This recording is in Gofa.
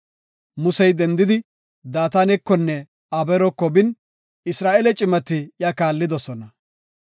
Musey dendidi, Daatanekonne Abeeroko bin, Isra7eele cimati iya kaallidosona.